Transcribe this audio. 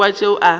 rile go kwa tšeo a